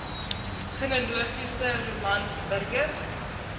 genealogiese romans burger